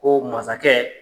Ko masakɛ